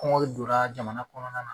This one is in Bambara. Kɔngɔn donna jamana kɔnɔna la